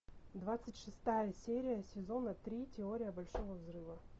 двадцать шестая серия сезона три теория большого взрыва